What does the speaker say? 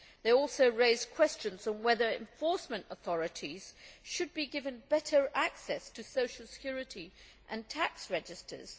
It also raised questions on whether enforcement authorities should be given better access to social security and tax registers.